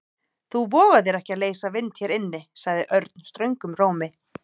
Þú vogar þér ekki að leysa vind hér inni sagði Örn ströngum rómi.